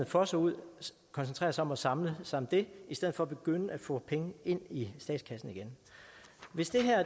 fosser ud koncentrerer sig om at samle sig om det i stedet for at begynde at få penge ind i statskassen igen hvis det her